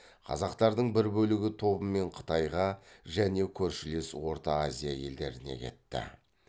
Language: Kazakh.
қазақтардың бір бөлігі тобымен қытайға және көршілес орта азия елдеріне кетті